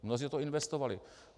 Mnozí do toho investovali.